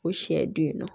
O siɲɛ don yen nɔ